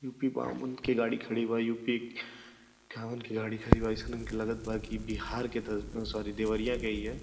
UP बावन के गाडी खड़ी बा। युपी कावन के गाडी खड़ी बा। अइसन हमके लगत बा कि बिहार के त सॉरी देवरिया के हिय।